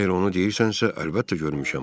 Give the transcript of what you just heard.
Əgər onu deyirsənsə, əlbəttə görmüşəm.